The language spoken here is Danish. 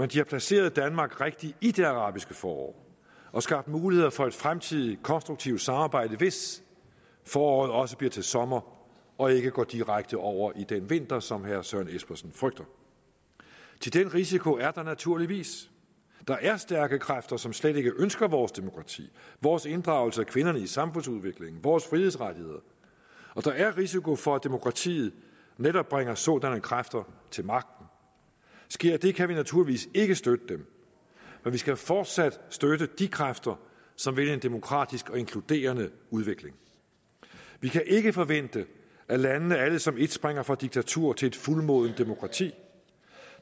de har placeret danmark rigtigt i det arabiske forår og skabt muligheder for et fremtidigt konstruktivt samarbejde hvis foråret også bliver til sommer og ikke går direkte over i den vinter som herre søren espersen frygter thi den risiko er der naturligvis der er stærke kræfter som slet ikke ønsker vores demokrati vores inddragelse af kvinderne i samfundsudviklingen vores frihedsrettigheder og der er risiko for at demokratiet netop bringer sådanne kræfter til magten sker det kan vi naturligvis ikke støtte dem men vi skal fortsat støtte de kræfter som vil en demokratisk og inkluderende udvikling vi kan ikke forvente at landene alle som et springer fra diktatur til fuldmodent demokrati